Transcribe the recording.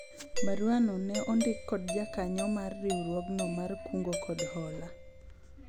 barua no ne ondik kod jakanyo mar riwruogno mar kungo kod hola